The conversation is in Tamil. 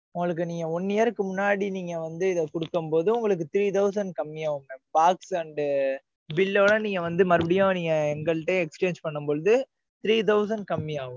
உங்களுக்கு நீங்க one year க்கு முன்னாடி, நீங்க வந்து, இதை கொடுக்கும் போது, உங்களுக்கு three thousand கம்மியாகுங்க. pass and, bill ஐ விட, நீங்க வந்து, மறுபடியும் நீங்க, எங்கள்ட்ட exchange பண்ணும் பொழுது, three thousand கம்மியா ஆகும்.